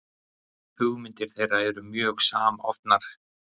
hugmyndir þeirra eru mjög samofnar